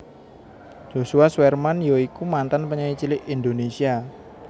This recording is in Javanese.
Joshua Suherman ya iku mantan penyanyi cilik Indonésia